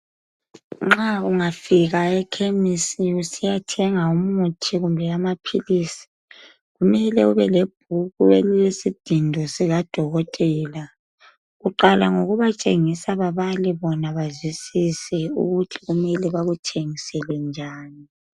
Nxa ungafika ekhemisi usiyathenga umuthi kumbe amaphilisi kumele ubelebhuku elilesidindo sikadokothela. Uqala ngokubatshengisa babale bona bazwisise ukuthi mele bakuthengisele njani.